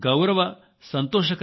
నేను ప్రతి ఒక్కరినీ పేర్కొనడం లేదు